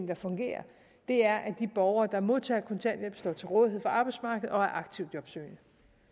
der fungerer er at de borgere der modtager kontanthjælp står til rådighed for arbejdsmarkedet og er aktivt jobsøgende